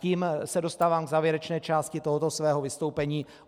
Tím se dostávám k závěrečné části tohoto svého vystoupení.